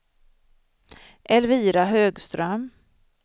Elvira Högström